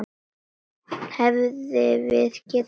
Hefðum við getað gert betur?